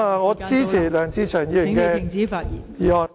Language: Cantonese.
我支持梁志祥議員的修正案。